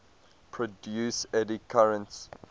produce eddy currents